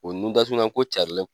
O nun datugulanko carinlen